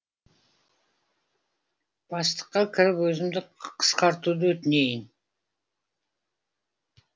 бастыққа кіріп өзімді қысқартуды өтінейін